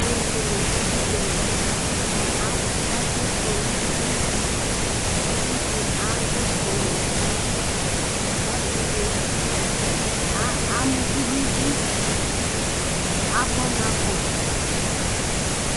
Aluɛdini ádù udzali ,ɛku kɔ nu uti, uvi di adù ifɔɔ wa, ɔsi di ama uvì n'idú, agbɔna kɔ